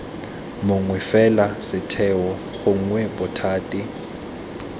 mongwe fela setheo gongwe bothati